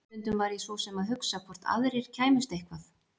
Stundum var ég svo sem að hugsa hvort aðrir kæmust eitthvað.